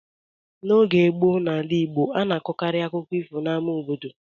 N’oge gboo n’ala Igbo, a na-akọkarị akụkọ ifo n’ama obodo.